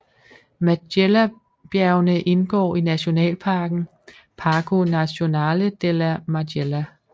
Majellabjergene indgår i nationalparken Parco Nazionale della Majella